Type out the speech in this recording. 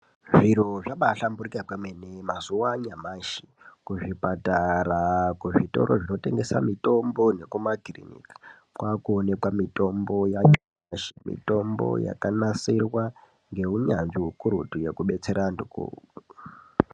Zviro zvabahlamburika kwemene mazuva nyamashi kuzvipatara kuzvitoro zvinotengesa mitombo nekumakiriniki kwakuonekwa mitombo yakanasirwa ngehunyanzvi hukuru ngekubetsera antu